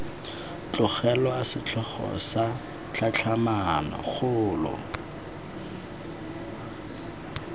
tlogelwa setlhogo sa tlhatlhamano kgolo